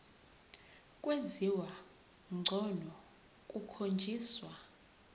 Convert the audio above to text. kwenziwa ngcono kukhonjiswa